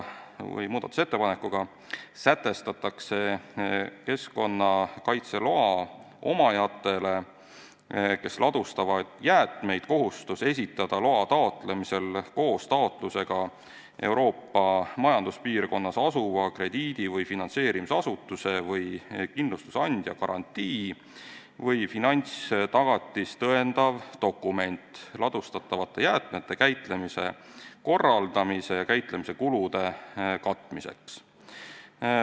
Muudatusettepanekuga sätestatakse keskkonnakaitseloa omajatele, kes ladustavad jäätmeid, kohustus esitada loa taotlemisel koos taotlusega Euroopa Majanduspiirkonnas asuva krediidi- või finantseerimisasutuse või kindlustusandja garantii või finantstagatist tõendav dokument ladustatavate jäätmete käitlemise korraldamise ja käitlemise kulude katmiseks.